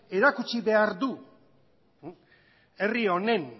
erakutsi behar du herri honen